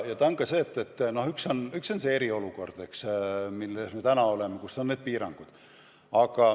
Ja üks ajend on see eriolukord, milles me praegu oleme ja kus on kehtivad need piirangud.